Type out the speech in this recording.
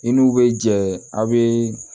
I n'u bɛ jɛ aw bɛ